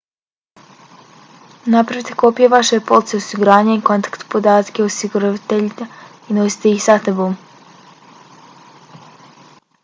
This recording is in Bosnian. napravite kopije vaše police osiguranja i kontakt podatke osiguravatelja i nosite ih sa sobom